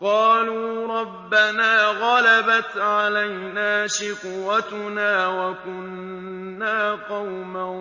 قَالُوا رَبَّنَا غَلَبَتْ عَلَيْنَا شِقْوَتُنَا وَكُنَّا قَوْمًا